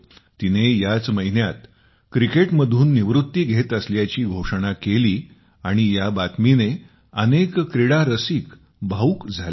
तिने याच महिन्यात क्रिकेटमधून निवृत्ती घेत असल्याची घोषणा केली आणि या बातमीने अनेक क्रीडारसिक भावूक झाले आहेत